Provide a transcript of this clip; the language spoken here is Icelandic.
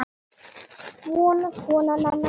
Svona, svona, Nanna mín.